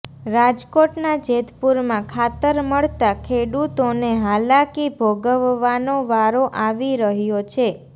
રાજકોટના જેતપુરમાં ખાતર મળતા ખેડૂતોને હાલાકી ભોગવવાનો વારો આવી રહ્યો છે